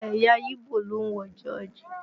Ẹ̀yà yíbò ló ń wọ jọ́ọ̀jì